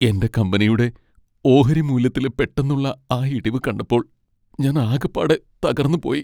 എന്റെ കമ്പനിയുടെ ഓഹരി മൂല്യത്തിലെ പെട്ടെന്നുള്ള ആ ഇടിവ് കണ്ടപ്പോൾ ഞാൻ ആകപ്പാടെ തകർന്നുപോയി.